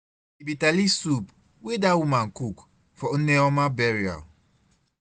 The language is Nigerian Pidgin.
The bitter leaf soup wey dat woman cook for Nne ọma burial.